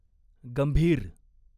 गंभीर